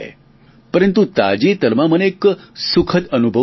પરંતુ તાજેતરમાં મને એક સુખદ અનુભવ થયો